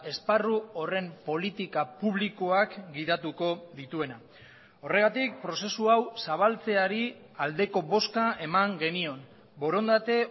esparru horren politika publikoak gidatuko dituena horregatik prozesu hau zabaltzeari aldeko bozka eman genion borondate